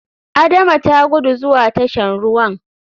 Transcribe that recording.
Adama ta guda zuwa tashan ruwan.